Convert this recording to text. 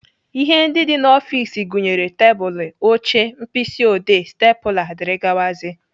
Ihe ndị dị n'ọfiks gụnyere tebụlụ, oche, mkpịsị odee, stepụla, dgz.